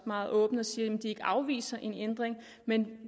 meget åbent siger at de ikke afviser en ændring men